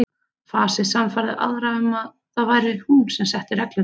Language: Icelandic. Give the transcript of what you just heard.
Fasið sannfærði aðra um að það væri hún sem setti reglurnar.